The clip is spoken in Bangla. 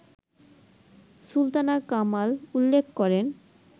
সুলতানা কামাল উল্লেখ করেন